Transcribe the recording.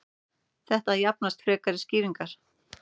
þetta þarfnast frekari skýringar